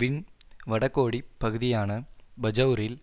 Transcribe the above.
win வடகோடிப் பகுதியான பஜெளரில்